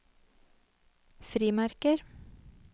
frimerker